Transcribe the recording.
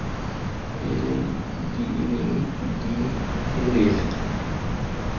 faele di leng di telele